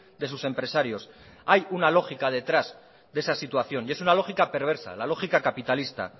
de sus empresarios hay una lógica detrás de esa situación y es una lógica perversa la lógica capitalista